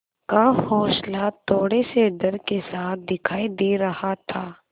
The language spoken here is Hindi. का हौंसला थोड़े से डर के साथ दिखाई दे रहा था